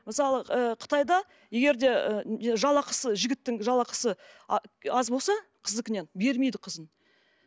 мысалы ы қытайда егер де жалақысы жігіттің жалақысы аз болса қыздікінен бермейді қызын